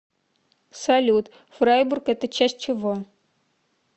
салют фрайбург это часть чего